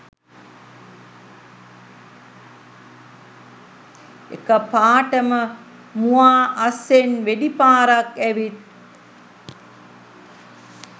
එකපාටම මුවා අස්සෙන් වෙඩි පාරක් ඇවිත්